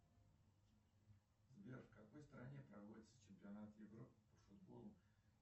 сбер в какой стране проводится чемпионат европы по футболу